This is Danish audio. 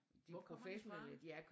Hvor kommer de fra?